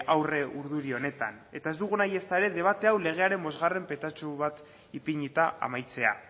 aurre urduri honetan eta ez dugu nahi ezta ere debate hau legearen bosgarren petatxu bat ipinita amaitzea